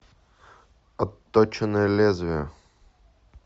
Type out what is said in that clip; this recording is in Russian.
отточенное лезвие